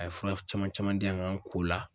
A ye fura caman caman di yan n kan ko la